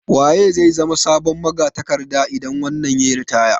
Waye zai zama sabon magatakarda idan wannan yayi ritaya?